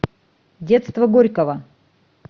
детство горького